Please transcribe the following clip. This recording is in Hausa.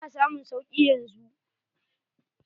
Ina samun sauki yanzu.